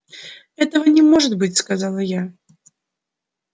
этого не может быть сказала я